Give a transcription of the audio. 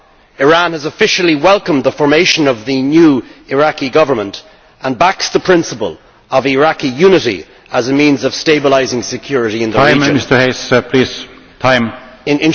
Iran has officially welcomed the formation of the new Iraqi Government and backs the principle of Iraqi unity as a means of stabilising security in the region.